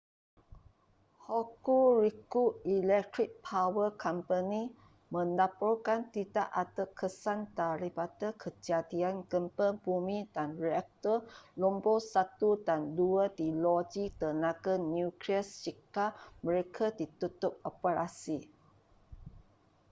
hokuriku electric power co melaporkan tidak ada kesan daripada kejadian gempa bumi dan reaktor nombor 1 dan 2 di loji tenaga nuklear shika mereka ditutup operasi